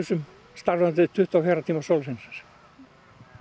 starfandi tuttugu og fjögurra tíma sólarhringsins